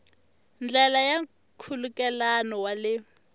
ndlela ya nkhulukelano wa le